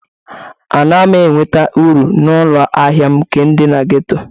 Anaghị m enweta uru na ụlọ ahịa m nke dị na ghetto.